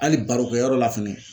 Hali barokɛ yɔrɔ la fɛnɛ